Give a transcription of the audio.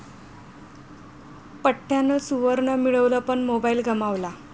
पठ्ठ्यानं सुवर्ण मिळवलं पण मोबाईल गमावला...